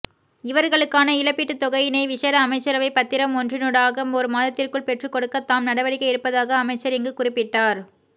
இவர்களுக்கான இழப்பீட்டுத்தொகையினை விசேட அமைச்சரவை பத்திரம் ஒன்றினூடாக ஒரு மாதத்திற்குள் பெற்றுக்கொடுக்க தாம் நடவடிக்கை எடுப்பதாக அமைச்சர் இங்கு குறிப்பிட்டார்